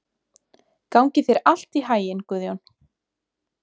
Gangi þér allt í haginn, Guðjón.